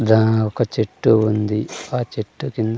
the ఒక చెట్టు ఉంది ఆ చెట్టు కింద--